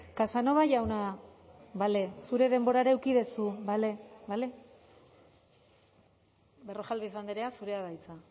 casanova jauna bale zure denborara eduki duzu bale bale berrojalbiz andrea zurea da hitza